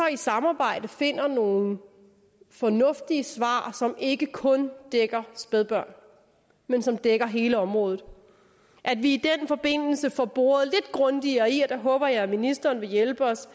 i samarbejde finder nogle fornuftige svar som ikke kun dækker spædbørn men som dækker hele området og at vi i den forbindelse får boret lidt grundigere i og der håber jeg at ministeren vil hjælpe os